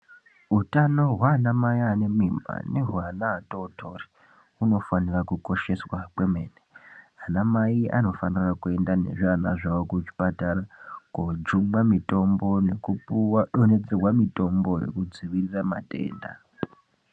Utano hwanamai anemimba nehwevana vatotori hunofanira kukosheswa kwemene. Anamai anofanira kuenda nezviana zvavo kuzvipatara kojungwa mitombo kupuwa nekudo nhedzerwa mitombo ye kudzivirira matenda.